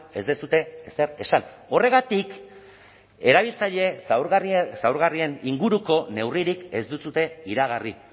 ez duzue ezer esan horregatik erabiltzaile zaurgarrien inguruko neurririk ez duzue iragarri